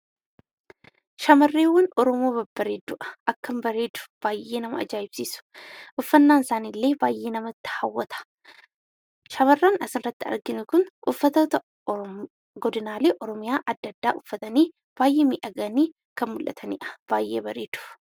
Shamarreewwan Oromoo Babbareedduu dha. Akkam bareedu! Baay'ee nama ajaa'ibsiisu! Uffannaan isaaniillee baay'ee nama hawwata. Shamarran asirratti arginu kun uffatoota Oromoo godinaalee Oromiyaa adda addaa uffatanii baay'ee miidhaganii kan mul'atanii dha. Baay'ee bareedu.